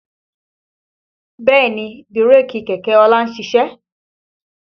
Bẹ́ẹ̀ni bírèkì kẹ̀kẹ́ ọlá ń ṣiṣẹ́